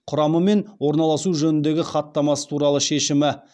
құрамы мен орналасуы жөніндегі хаттамасы туралы шешімі